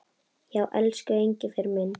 Já, elsku Engifer minn.